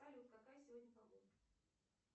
салют какая сегодня погода